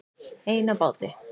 Ein á báti